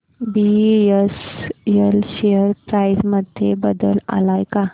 BSL share price मध्ये बदल आलाय का